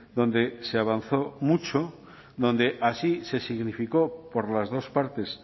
donde se avanzó mucho donde así se significó por las dos partes